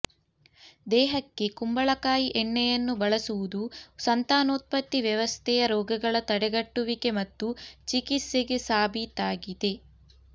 ದೇಹಕ್ಕೆ ಕುಂಬಳಕಾಯಿ ಎಣ್ಣೆಯನ್ನು ಬಳಸುವುದು ಸಂತಾನೋತ್ಪತ್ತಿ ವ್ಯವಸ್ಥೆಯ ರೋಗಗಳ ತಡೆಗಟ್ಟುವಿಕೆ ಮತ್ತು ಚಿಕಿತ್ಸೆಗೆ ಸಾಬೀತಾಗಿದೆ